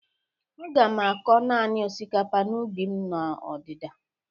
Aga m akọ nanị osikapa n'ubi m n'ọdịda.